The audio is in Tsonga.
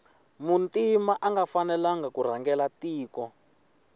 muntima anga fanelangi kurhangela tiko